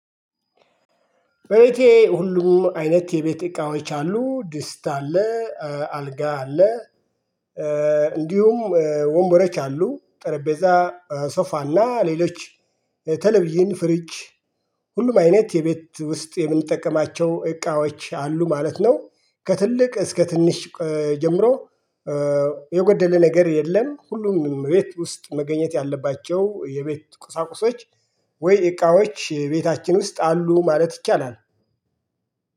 በቤቴ ሁሉም አይነት የቤት እቃዎች አሉ ድስት አለ አልጋ አለ እንዲሁም ወንበሮች አሉ። ጠረጴዛ ሶፋና ሌሎች ተለቭዥን ፍሪጅ ሁሉም አይነት የቤት ውስጥ የምንጠቀማቸው እቃዎች አሉ ማለት ነው። ከትልቅ እስከ ትንሽ ጀምሮ የጎደለ ነገር የለም። ሁሉም ቤት ውስጥ መገኘት ያለባቸው የቤት ቁሳቁሶች ወይ እቃዎች የቤታችን ውስጥ አሉ ማለት ይቻላል።